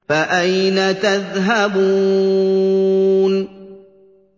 فَأَيْنَ تَذْهَبُونَ